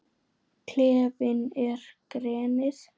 Klefinn er grenið.